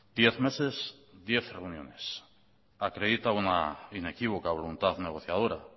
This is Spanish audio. diez meses diez reuniones acredita una inequívoca voluntad negociadora